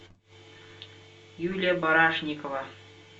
юлия барашникова